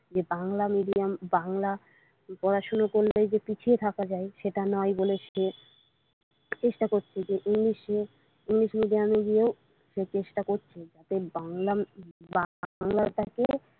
যে বাংলা মিডিয়াম বাংলা পড়াশুনা করলেই যে পিছিয়ে থাকা যায় সেটা নাই বলে চেষ্টা করছে যে ইংলিশ নিয়ে ইংলিশ মিডিয়ামে গিয়েও সে চেষ্টা করছে যে বাংলা টাকে।